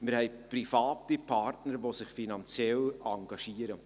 wir haben private Partner, welche sich finanziell engagieren.